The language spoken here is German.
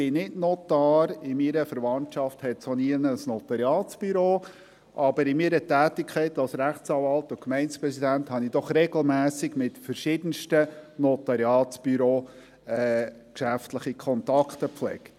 Ich bin nicht Notar, in meiner Verwandtschaft hat es auch kein Notariatsbüro, aber in meiner Tätigkeit als Rechtsanwalt und Gemeindepräsident habe ich doch regelmässig mit verschiedensten Notariatsbüros geschäftliche Kontakte gepflegt.